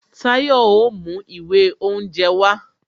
Tayo o mú ìwé oúnje wá